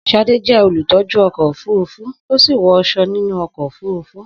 Sade jẹ́ olùtọ́jú ọkọ̀ òfurufú, ó sì wọ aṣọ nínú ọkọ̀ òfurufú.